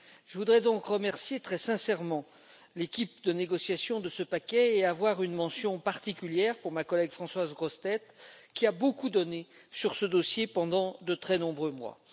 Je voudrais donc remercier très sincèrement l'équipe de négociation de ce paquet, avec une mention particulière pour ma collègue Françoise Grossetête, qui a beaucoup donné sur ce dossier pendant de très nombreux mois.